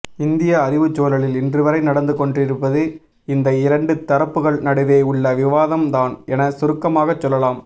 இந்திய அறிவுச்சூழலில் இன்றுவரை நடந்துகொண்டிருப்பது இநத இரண்டுதரப்புகள் நடுவே உள்ள விவாதம்தான் என சுருக்கமாகச் சொல்லலாம்